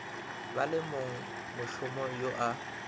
ba le mongmošomo yo a